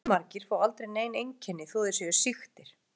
Fjölmargir fá aldrei nein einkenni þó þeir séu sýktir.